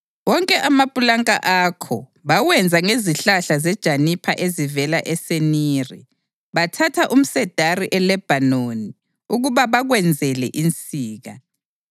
Wonke amapulanka akho bawenza ngezihlahla zejanipha ezivela eSeniri; bathatha umsedari eLebhanoni ukuba bakwenzele insika.